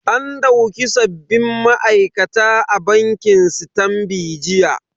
An dauki sabbin ma'aikata a bankin sitanbi jiya.